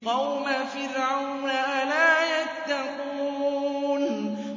قَوْمَ فِرْعَوْنَ ۚ أَلَا يَتَّقُونَ